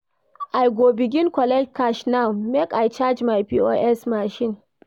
I go begin collect cash now make I charge my POS machine.